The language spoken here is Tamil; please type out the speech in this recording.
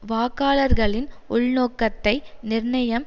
வாக்காளர்களின் உள்நோக்கத்தை நிர்ணயம்